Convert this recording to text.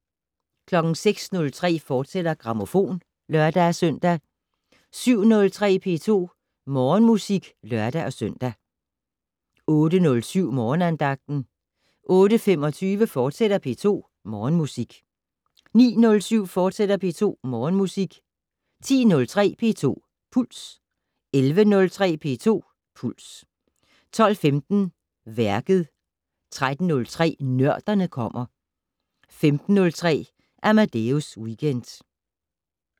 06:03: Grammofon, fortsat (lør-søn) 07:03: P2 Morgenmusik (lør-søn) 08:07: Morgenandagten 08:25: P2 Morgenmusik, fortsat 09:07: P2 Morgenmusik, fortsat 10:03: P2 Puls 11:03: P2 Puls 12:15: Værket 13:03: Nørderne kommer 15:03: Amadeus Weekend